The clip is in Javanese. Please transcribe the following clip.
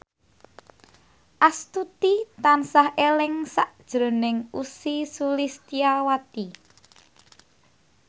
Astuti tansah eling sakjroning Ussy Sulistyawati